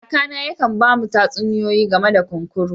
Kaka na yaka'n bamu tatsuniyoyi game da kunkuru.